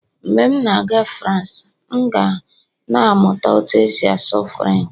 mgbe m na-aga France, m ga na-amụta otú e si asụ Firench